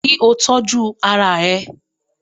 Kí o tọ́jú ara ẹ